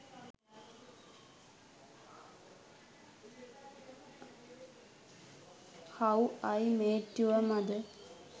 how i met your mother